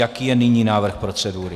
Jaký je nyní návrh procedury?